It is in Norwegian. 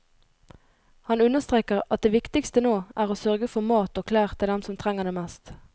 Han understreker at det viktigste nå er å sørge for mat og klær til dem som trenger det mest.